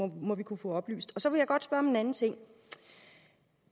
det må vi kunne få oplyst så vil jeg godt spørge om en anden ting